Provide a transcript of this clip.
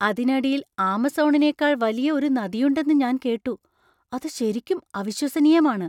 അതിനടിയിൽ ആമസോണിനേക്കാൾ വലിയ ഒരു നദിയുണ്ടെന്ന് ഞാൻ കേട്ടു , അത് ശരിക്കും അവിശ്വസനീയമാണ്!